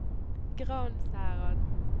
Gransherad